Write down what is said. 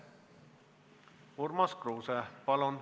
Urmas Kruuse, palun!